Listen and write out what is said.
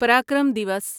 Parakram Diwas